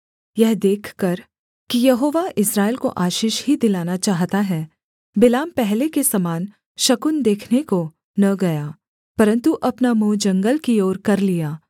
यह देखकर कि यहोवा इस्राएल को आशीष ही दिलाना चाहता है बिलाम पहले के समान शकुन देखने को न गया परन्तु अपना मुँह जंगल की ओर कर लिया